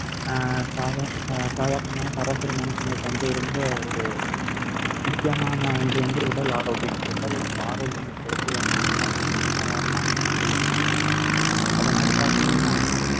அஹ் சாதா~ அஹ் சாதாரணமாவும் சராசரி மனுஷனுக்கு வந்து ரொம்ப ஒரு முக்கியமான ஒன்று வந்து உடல் ஆரோக்கியம் உடல் ஆரோக்கியம் அந்த உடல் வலிமை இல்லாத நம்ம என்ன வேலை செய்ய முடி~ அதே மாதிரி பார்த்தீங்கன்னா